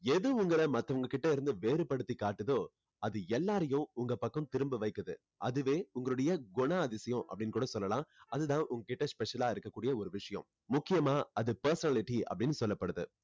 எது உங்களை மத்தவங்ககிட்ட இருந்து வேறுபடுத்தி காட்டுதோ அது எல்லாரையும் உங்க பக்கம் திரும்ப வைக்குது அதுவே உங்களுடைய குணாதிசயம் அப்படின்னு கூட சொல்லலாம் அது தான் உங்க கிட்ட special ஆ இருக்க கூடிய ஒரு விஷயம் முக்கியமா அது personality அப்படின்னு சொல்லப்படுது